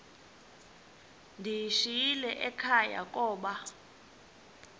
ndiyishiyile ekhaya koba